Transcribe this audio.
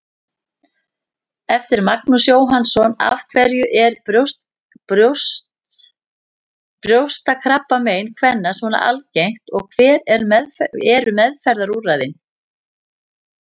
Eftir Magnús Jóhannsson Af hverju er brjóstakrabbamein kvenna svona algengt og hver eru meðferðarúrræðin?